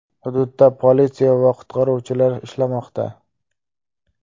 Hududda politsiya va qutqaruvchilar ishlamoqda.